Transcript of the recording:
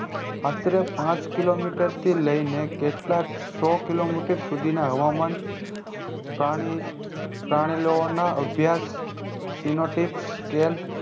અત્તે પાંચ કિલોમીટરથી લઈને કેટલાક સૌ કિલોમીટર સુઘી ના હવામાન પ્રાણી પ્રાણીલોઓ નો અભ્યાસ synoptic scale